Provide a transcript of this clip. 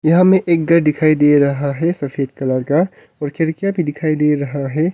यहां में एक घर दिखाई दे रहा है सफेद कलर का और खिड़कियां भी दिखाई दे रहा है।